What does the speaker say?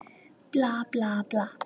Bla, bla, bla.